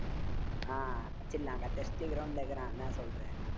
ஆஹ் அடிச்சிடலாம் cut இப்புடியே ground ல இருக்கலா என்ன சொல்ற